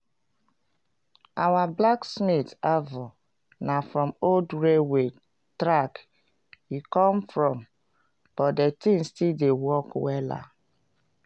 our blacksmith anvil na from old railway track e come from but de thing still dey work wella.